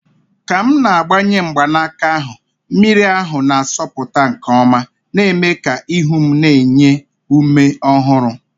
Ka m na-agbanye mgbanaka ahụ, mmiri ahụ na-asọpụta nke ọma, na-eme ka ihu m na-enye ume ọhụrụ.